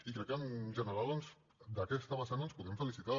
i crec que en general doncs d’aquesta vessant ens en podem felicitar